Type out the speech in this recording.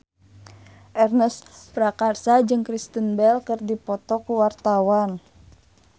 Ernest Prakasa jeung Kristen Bell keur dipoto ku wartawan